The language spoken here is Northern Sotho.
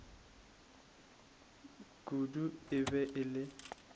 kudu e be e le